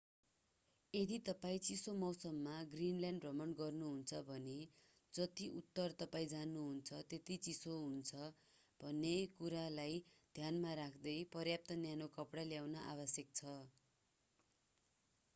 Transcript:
यदि तपाईं चिसो मौसममा ग्रिनल्यान्ड भ्रमण गर्नुहुन्छ भने जति उत्तर तपाईं जानुहुन्छ त्यति चिसो हुन्छ भन्ने कुरलाई ध्यानमा राख्दै पर्याप्त न्यानो कपडा ल्याउन आवश्यक छ।